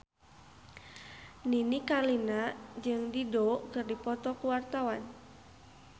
Nini Carlina jeung Dido keur dipoto ku wartawan